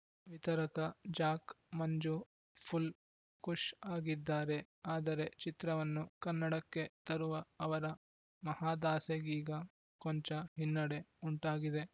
ವಿತರಕ Jack Manju full ಖುಷ್‌ ಆಗಿದ್ದಾರೆ ಆದರೆ ಚಿತ್ರವನ್ನು ಕನ್ನಡಕ್ಕೆ ತರುವ ಅವರ ಮಹದಾಸೆಗೀಗ ಕೊಂಚ ಹಿನ್ನೆಡೆ ಉಂಟಾಗಿದೆ